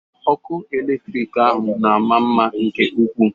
Ọkụ eletrik ahụ na-ama mma nke ụkwụ.